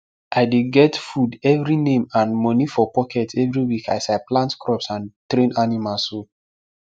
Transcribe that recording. i dey get food every name and money for pocket every week as i plant crops and train animails o